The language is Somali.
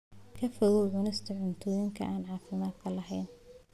Ka fogow cunista cuntooyinka aan caafimaadka lahayn.